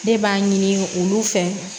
Ne b'a ɲini olu fɛ